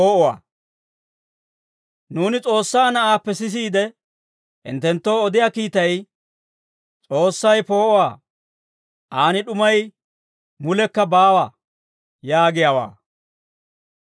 Nuuni S'oossaa na'aappe sisiide, hinttenttoo odiyaa kiitay, «S'oossay poo'uwaa; aan d'umay mulekka baawa» yaagiyaawaa.